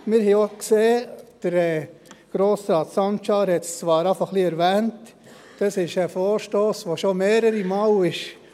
Wir haben auch gesehen – Grossrat Sancar hat es bereits etwas erwähnt –, dass dies ein Vorstoss ist, der schon mehrere Male gekommen ist;